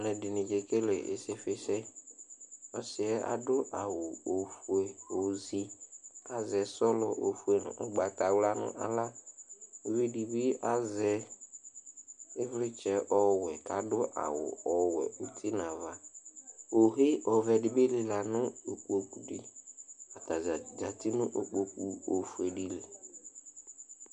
Alʋɛdini kekele isifisɛ asi yɛ adʋ awʋ ofue ozi kʋ azɛ sɔlɔ ofue ʋgbatawla nʋ aɣla ʋvidi bi azɛ ivlitsɛ ɔwɛ nʋ aɣla kʋ adʋ awʋ ɔwɛ iti nʋ ava ohe ɔvɛdibi manʋ ikpokʋdi atadza zati nʋ ikpokʋ ofuedi li